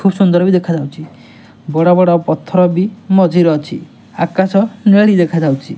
ଖୁବ୍ ସୁନ୍ଦର୍ ବି ଦେଖାଯାଉଚି। ବଡ଼ ବଡ଼ ପଥର ବି ମଝିରେ ଅଛି। ଆକାଶ ନେଳୀ ଦେଖାଯାଉଚି।